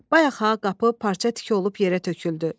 Bayaq ha qapı parça tiki olub yerə töküldü.